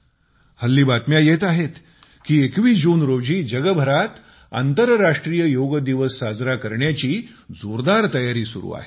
आजकाल बातम्या मिळत आहेत की जगभरात आंतरराष्ट्रीय योग दिवस साजरा करण्याची जोरदार तयारी सुरू आहे